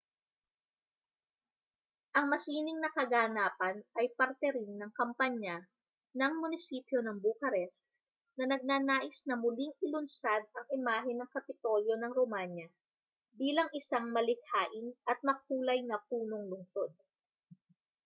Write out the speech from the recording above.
ang masining na kaganapan ay parte rin ng kampanya ng munisipyo ng bucharest na nagnanais na muling ilunsad ang imahe ng kapitolyo ng romanya bilang isang malikhain at makulay na punong-lunsod